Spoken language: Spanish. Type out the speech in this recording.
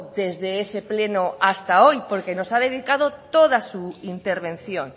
desde ese pleno hasta hoy porque nos ha dedicado toda su intervención